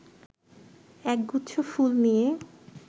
একগুচ্ছ ফুল নিয়ে